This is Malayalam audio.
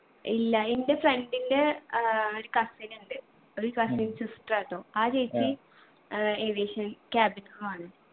ഇല്ല എൻ്റെ friend ൻ്റെ ആഹ് ഒരു cousin ഉണ്ട് ഒരു cousin sister ആട്ടോ ആ ചേച്ചി ഏർ aviation cabin crew ആണ്